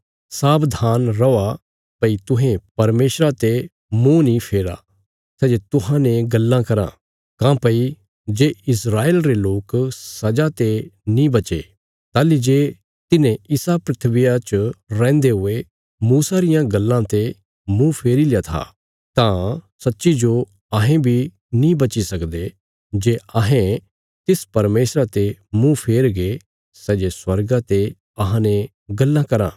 सावधान रौआ भई तुहें परमेशरा ते मुँह नीं फेरा सै जे तुहांजो गल्लां कराँ काँह्भई जे इस्राएल रे लोक सजा ते नीं बचे ताहली जे तिन्हें इसा धरतिया च रैहन्दे हुये मूसा रियां गल्लां ते मुँह फेरील्या था तां सच्चीजो अहें बी नीं बची सकदे जे अहें तिस परमेशरा ते मुँह फेरगे सै जे स्वर्गा ते अहांने गल्लां कराँ